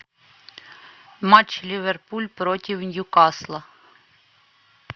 матч ливерпуль против ньюкасла